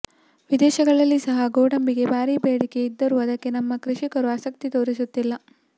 ವಿದೇಶಗಳಲ್ಲಿ ಸಹ ಗೋಡಂಬಿಗೆ ಭಾರಿ ಬೇಡಿಕೆ ಇದ್ದರೂ ಅದಕ್ಕೆ ನಮ್ಮ ಕೃಷಿಕರು ಆಸಕ್ತಿ ತೋರಿಸುತ್ತಿಲ್ಲ